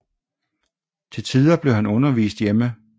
Til tider blev han undervist hjemme